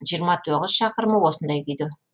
жиырма тоғыз шақырымы осындай күйде